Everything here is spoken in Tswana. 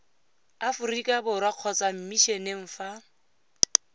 aforika borwa kgotsa mmisheneng fa